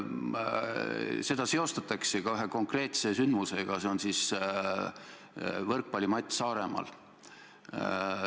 Eestis seostatakse seda kriisi eriti ühe konkreetse sündmusega, see on võrkpallivõistlus Saaremaal.